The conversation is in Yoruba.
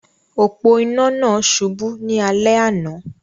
Òpó-inà náà subú ní alé àná